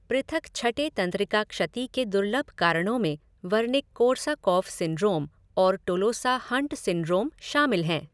पृथक छठे तंत्रिका क्षति के दुर्लभ कारणों में वर्निक कोर्साकॉफ़ सिंड्रोम और टोलोसा हंट सिंड्रोम शामिल हैं।